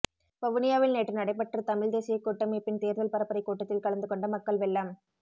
வவுனியாவில்நேற்று நடைபெற்ற தமிழ் தேசியக் கூட்டமைப்பின் தேர்தல் பரப்புரைக் கூட்டத் தில் கலந்துகொண்ட மக்கள் வெள்ளம்